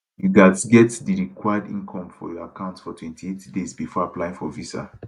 you gatz get di required income for your account for 28 days bifor applying for visa